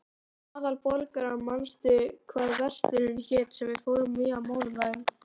Aðalborgar, manstu hvað verslunin hét sem við fórum í á mánudaginn?